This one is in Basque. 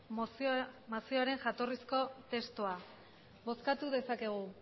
mozioaren jatorrizko testua bozkatu dezakegu